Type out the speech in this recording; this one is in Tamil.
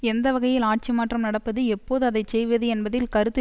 எந்த வகையில் ஆட்சி மாற்றம் நடப்பது எப்போது அதைச்செய்வது என்பதில் கருத்து